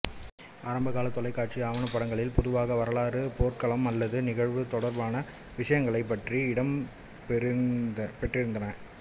ஆரம்பகால தொலைக்காட்சி ஆவணப்படங்களில் பொதுவாக வாரலாறு போர்க்காலம் அல்லது நிகழ்வு தொடர்பான விஷயங்களை பற்றியே இடம்பெற்றிருந்தன